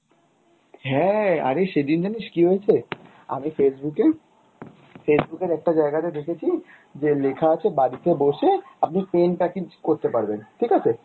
হ্যাঁ অরে সেদিন জানিস কি হয়েছে? আমি Facebook এ, Facebook এর একটা জায়গাতে দেখেছি যে লেখা আছে বাড়িতে বসে আপনি pen package করতে পারবেন ঠিক আছে ?